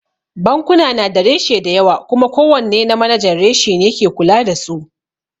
Bankuna na da reshe dayawa kuma ko wanne na manajan reshe ne ke kula da su